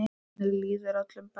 Þannig líður öllum best.